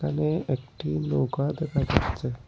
এখানে একটি নৌকা দেখা যাচ্ছে।